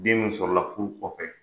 Den sɔrɔ la furu kɔfɛ.